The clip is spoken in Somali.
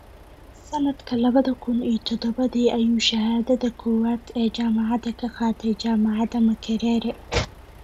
Sanadka labada kun iyo todobadii ayuu shahaadada koowaad ee jaamacadda ka qaatay Jaamacadda Makerere.